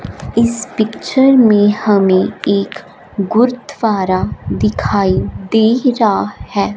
इस पिक्चर में हमें एक गुरुद्वारा दिखाई दे रहा हैं।